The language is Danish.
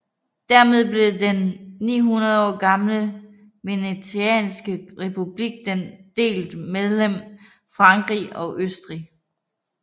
Dermed blev den 900 år gamle venetianske republik delt mellem Frankrig og Østrig